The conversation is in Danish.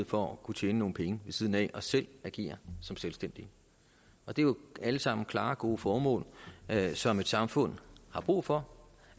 for at kunne tjene nogle penge ved siden af og selv agere som selvstændig det er jo alle sammen klare gode formål som et samfund har brug for